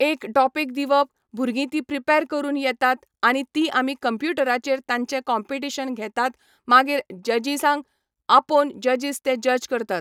एक टॉपीक दिवप भुरगीं ती प्रिपेर करून येतात आनी ती आमी कंप्युटराचेर तांचे कॉम्पिटीशन घेतात मागीर जजीसांक आपोवन जजीस ते जज करता.